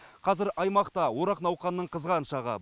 қазір аймақта орақ науқанының қызған шағы